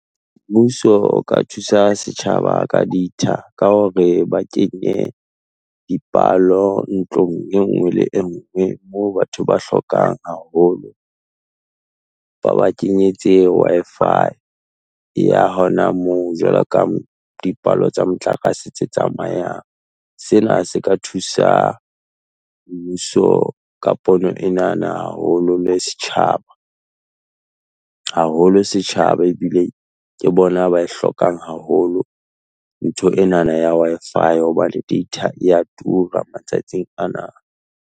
Mmuso o ka thusa setjhaba ka data, ka hore ba kenye dipalo ntlong e nngwe le engwe, moo batho ba hlokang haholo. Ba ba kenyetse. Wi-Fi, ya hona moo Jwaloka dipalo tsa motlakase tse tsamayang. Sena se ka thusa mmuso ka pono ena na haholo le setjhaba, haholo setjhaba ebile ke bona ba e hlokang haholo ntho ena na ya Wi-Fi hobane data e ya tura matsatsing ana.